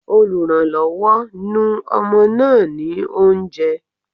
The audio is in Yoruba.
Olùrànlọ́wọ́, nu ọmọ náà ní oúnjẹ.